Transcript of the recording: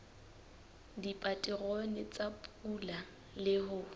dipaterone tsa pula le ho